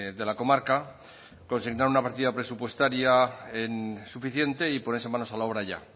de la comarca presentar una partida presupuestaria suficiente y ponerse manos a la obra ya